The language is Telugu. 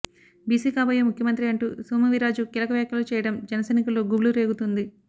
బీసీ కాబోయే ముఖ్యమంత్రి అంటూ సోము వీర్రాజు కీలక వ్యాఖ్యలు చేయడం జనసైనికుల్లో గుబులు రేగుతోంది